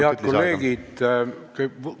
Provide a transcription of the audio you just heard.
Head kolleegid!